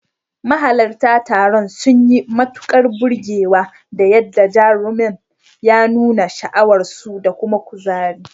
Mahalarta taron sun yi matukar burgewa da yadda jarumar ya nuna sha'awarsu da kuma kuzari.